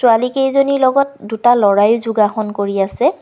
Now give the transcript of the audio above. ছোৱালী কেইজনীৰ লগত দুটা ল'ৰাই যোগাসন কৰি আছে।